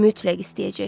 Mütləq istəyəcək.